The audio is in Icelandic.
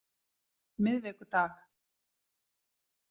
miðvikudag